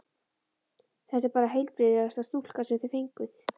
Þetta er bara heilbrigðasta stúlka sem þið fenguð.